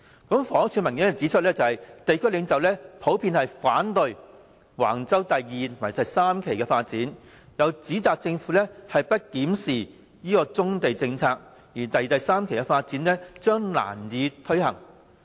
房屋署的文件指出，地區領袖普遍反對橫洲第2及3期發展，又指倘若政府不檢視棕地政策，第2及3期的發展將難以推行。